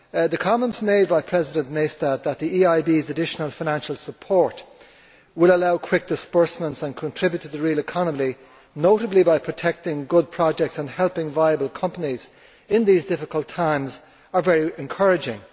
The comments made by President Maystadt that the EIB's additional financial support will allow quick disbursements and contribute to the real economy, notably by protecting good projects and helping viable companies in these difficult times, are very encouraging.